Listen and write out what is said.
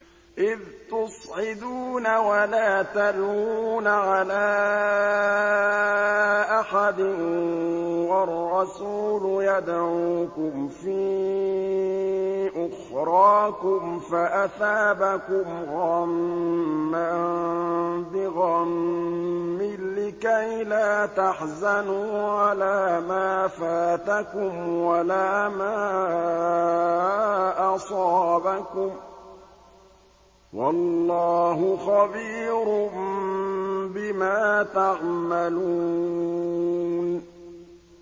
۞ إِذْ تُصْعِدُونَ وَلَا تَلْوُونَ عَلَىٰ أَحَدٍ وَالرَّسُولُ يَدْعُوكُمْ فِي أُخْرَاكُمْ فَأَثَابَكُمْ غَمًّا بِغَمٍّ لِّكَيْلَا تَحْزَنُوا عَلَىٰ مَا فَاتَكُمْ وَلَا مَا أَصَابَكُمْ ۗ وَاللَّهُ خَبِيرٌ بِمَا تَعْمَلُونَ